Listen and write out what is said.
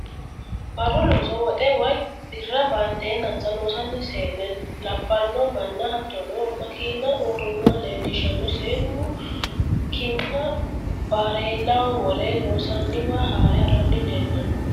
Baru looso woxe woyi birra baanteenanisa loosanno see'nena labalo mana hatonno makiiina uurinoha leelishanno, seenu ki'na bareellaho wore loonsaniwa haare harani leelano